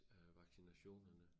Øh vaccinationerne